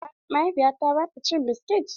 A'a, mahaifiyata ba ta cin biskit.